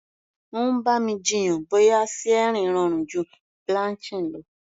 Ó ń bá mi jiyàn bóyá searing rọrùn ju blanching lọ.